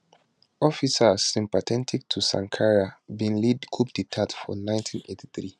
officers sympathetic to sankara bin lead coup dtat for 1983